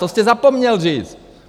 To jste zapomněl říct.